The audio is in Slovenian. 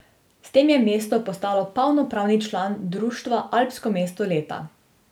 S tem je mesto postalo polnopravni član društva Alpsko mesto leta.